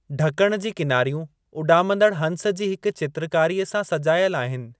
ढकण जी किनारियूं उॾामंदड़ हंस जी हिक चित्रकारीअ सां सजायल आहिनि।